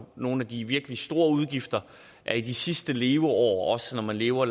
nogle af de virkelig store udgifter i de sidste leveår når man lever